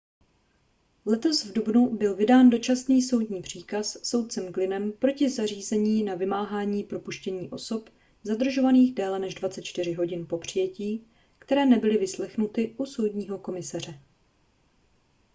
letos v dubnu byl vydán dočasný soudní příkaz soudcem glynnem proti zařízení na vymáhání propuštění osob zadržovaných déle než 24 hodin po přijetí které nebyly vyslechnuty u soudního komisaře